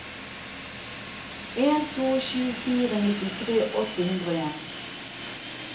en to sju fire nittifire åtte hundre og en